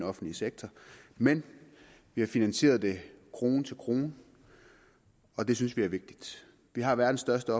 offentlige sektor men vi har finansieret det krone til krone og det synes vi er vigtigt vi har verdens største